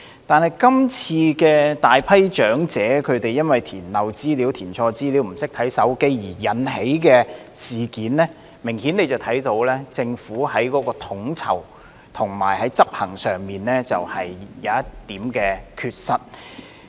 但是，從今次大批長者填漏資料、填錯資料或不懂使用手機而引起的事件，明顯看到政府在統籌及執行上有一點缺失。